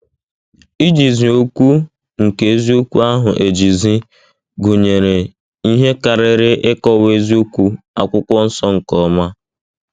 Ijizi okwu nke eziokwu ahụ ejizi' gụnyere ihe karịrị ịkọwa eziokwu Akwụkwọ Nsọ nke ọma.